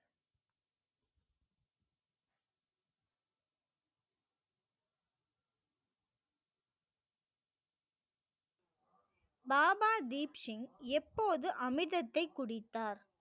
பாபா தீப்சிங் எப்போது அமிர்தத்தை குடித்தார்